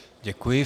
Děkuji.